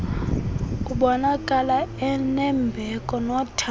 ubonakala enembeko nothando